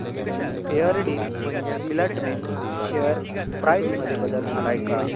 Fairdeal filament share price मध्ये बदल आलाय का